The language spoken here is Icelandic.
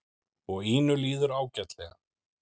Og Ínu líður ágætlega.